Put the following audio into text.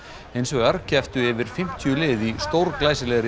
hins vegar kepptu yfir fimmtíu lið í